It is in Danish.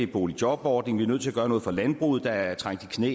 boligjobordning er nødt til at gøre noget for landbruget der er trængt i knæ